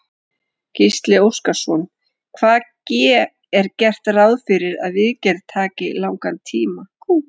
Gísli Óskarsson: Hvað ge, er gert ráð fyrir að viðgerð taki langan tíma?